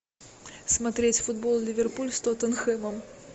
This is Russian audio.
смотреть футбол ливерпуль с тоттенхэмом